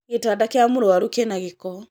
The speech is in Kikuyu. gĩtanda gĩa mũrwaru kĩna gĩko